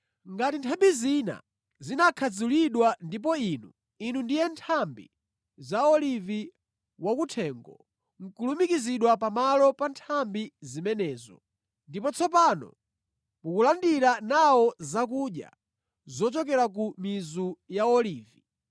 Ngati nthambi zina zinakhadzulidwa ndipo inu, inu ndiye nthambi za olivi wakuthengo, nʼkulumikizidwa pamalo pa nthambi zimenezo, ndipo tsopano mukulandira nawo zakudya zochokera ku mizu ya olivi,